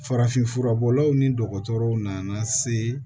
Farafinfura bɔlaw ni dɔgɔtɔrɔw nana se